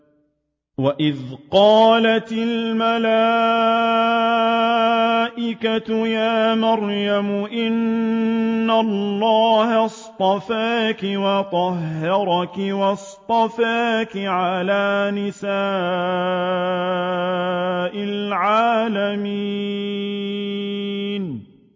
وَإِذْ قَالَتِ الْمَلَائِكَةُ يَا مَرْيَمُ إِنَّ اللَّهَ اصْطَفَاكِ وَطَهَّرَكِ وَاصْطَفَاكِ عَلَىٰ نِسَاءِ الْعَالَمِينَ